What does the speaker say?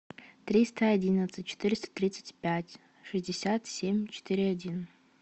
триста одиннадцать четыреста тридцать пять шестьдесят семь четыре один